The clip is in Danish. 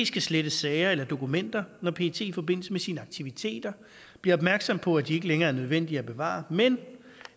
skal slette sager eller dokumenter når pet i forbindelse med sine aktiviteter bliver opmærksom på at de ikke længere er nødvendige at bevare men